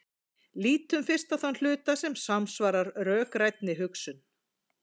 Lítum fyrst á þann hluta sem samsvarar rökrænni hugsun.